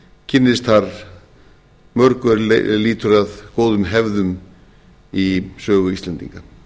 kynnist þar mörgu er lýtur að góðum hefðum í sögu íslendinga